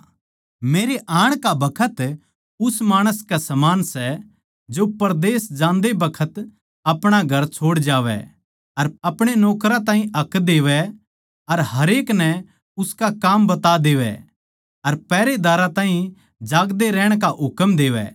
मरे आण का बखत उस माणस के समान सै जो परदेस जान्दे बखत अपणा घर छोड़ जावै अर आपणे नौकरां ताहीं हक देवै अर हरेक नै उसका काम बता देवै अर पहरेदार ताहीं जागदे रहण का हुकम देवै